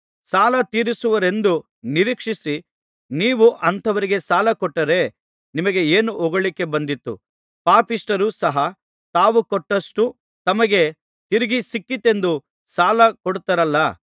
ಸಾಲತೀರಿಸುವುರೆಂದು ನಿರೀಕ್ಷಿಸಿ ನೀವು ಅಂಥವರಿಗೆ ಸಾಲಕೊಟ್ಟರೆ ನಿಮಗೆ ಏನು ಹೊಗಳಿಕೆ ಬಂದೀತು ಪಾಪಿಷ್ಠರೂ ಸಹ ತಾವು ಕೊಟ್ಟಷ್ಟು ತಮಗೆ ತಿರುಗಿ ಸಿಕ್ಕೀತೆಂದು ಸಾಲ ಕೊಡುತ್ತಾರಲ್ಲಾ